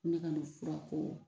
Ne ka nin furako